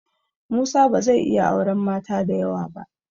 Musa ba zai iya auren mata da yawa ba.